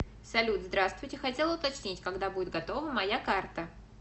салют здравствуйте хотела уточнить когда будет готова моя карта